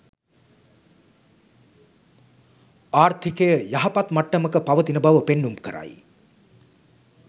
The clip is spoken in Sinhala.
ආර්ථිකය යහපත් මට්ටමක පවතින බව පෙන්නුම් කරයි.